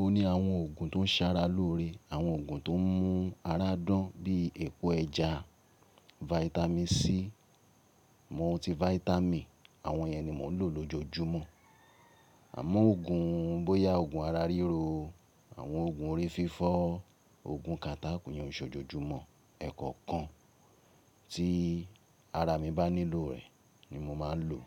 o ní àwọn òògùn tó ń ṣara lóore, àwọn òògùn tó ń mú ara dán bíi epo ẹja, Vitamin C, Multivitamin àwọn yẹn ni mò ń lò lójojúmọ́. Àmọ́ òògùn bóyá òògùn ara ríro, àwọn òògùn orí fífọ́, òògùn kata iyen o se òjojúmọ́. Ẹ̀kọ̀kan tí ara mi bá nílò rẹ̀ ni mo máa ń lò.